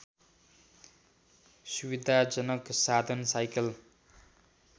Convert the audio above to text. सुविधाजनक साधन साइकल